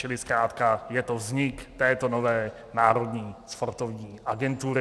Čili zkrátka je to vznik této nové Národní sportovní agentury.